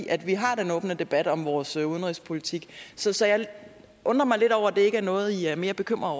at vi har den åbne debat om vores udenrigspolitik så så jeg undrer mig lidt over at det ikke er noget i er mere bekymrede